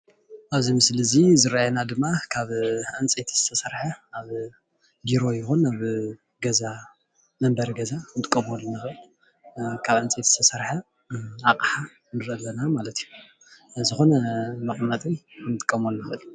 ኣብዚ ምስሊ ዝረአየና ድማ ካብ ዕንፀይቲ ዝተሰርሐ ኣብ ቢሮ ይኩን ኣብ መንበሪ ገዛ ክንጥቀመሉ ንክእል ካብ ዕንፀይቲ ዝተሰርሓ ኣቅሓ ንርኢ ኣለና ማለት እዩ፡፡ ዝኮነ መቀመጢ እውን ክንጥቀመሉ ንክእል፡፡